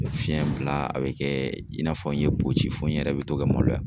Fiyɛn bila a bɛ kɛ i n'a fɔ n ye boci fo n yɛrɛ bɛ to ka maloya